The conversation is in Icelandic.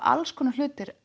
alls konar